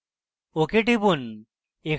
ok টিপুন